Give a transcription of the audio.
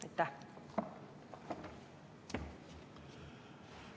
Aitäh!